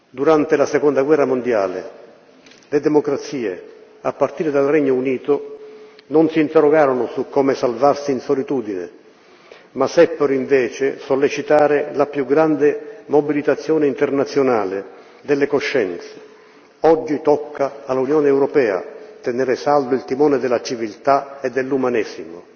Durante la Seconda guerra mondiale le democrazie, a partire dal Regno Unito, non si interrogarono su come salvarsi in solitudine, ma seppero, invece, sollecitare la più grande mobilitazione internazionale delle coscienze. Oggi tocca all'Unione europea tenere saldo il timone della civiltà e dell'umanesimo.